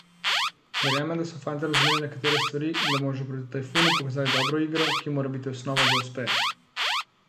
Verjamem, da so fantje razumeli nekatere stvari in da bomo že proti Tajfunu pokazali dobro igro, ki mora biti osnova za uspeh.